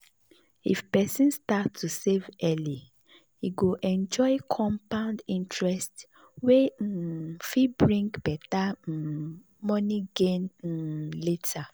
if person start to save early e go enjoy compound interest wey um fit bring better um money gain um later.